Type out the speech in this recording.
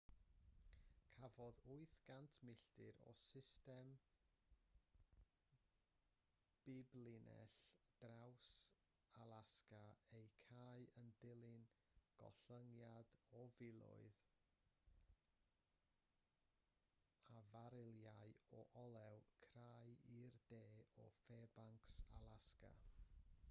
cafodd 800 milltir o system biblinell draws-alasga eu cau yn dilyn gollyngiad o filoedd o farilau o olew crai i'r de o fairbanks alasga